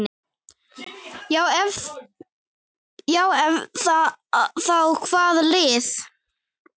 Ef já þá hvaða lið?